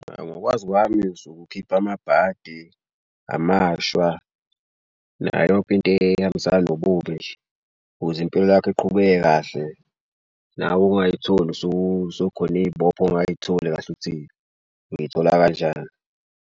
Ngokwazi kwami usuke ukhipha amabhadi amashwa nayo yonke into ehambisana nobubi nje, ukuze impilo lakho iqhubeke kahle. Nawe ungayitholi sekukhona iy'bopha ongayitholi kahle ukuthi ngiyithola kanjani.